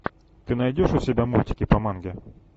ты найдешь у себя мультики по манге